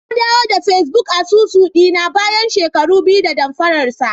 Nadawo da Facebook asusu dina bayan shekara biyu da damfararsa.